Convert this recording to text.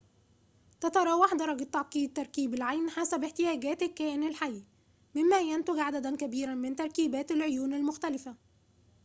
تتراوح درجة تعقيد تركيب العين حسب احتياجات الكائن الحي مما ينتج عدداً كبيراً من تركيبات العيون المختلفة